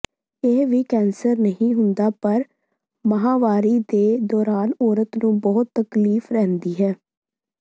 ਇਹ ਵੀ ਕੈਂਸਰ ਨਹੀਂ ਹੁੰਦਾ ਪਰ ਮਾਹਵਾਰੀ ਦੇ ਦੌਰਾਨ ਔਰਤ ਨੂੰ ਬਹੁਤ ਤਕਲੀਫ਼ ਰਹਿੰਦੀ ਹੈ